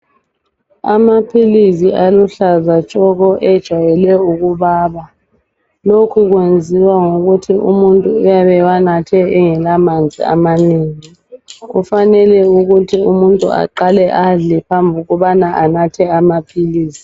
amaphilisi aluhlaza tshoko ajayele ukubaba lokhukuyenziwa yikuthi umuntu uyabe ewanathe engela manzi amanengi kufanele umutnu aqale adle phambili kokuthi anathe amaphilisi